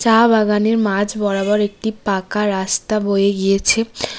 চা বাগানের মাঝ বরাবর একটি পাঁকা রাস্তা বয়ে গিয়েছে।